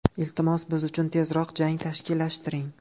Iltimos, biz uchun tezroq jang tashkillashtiring.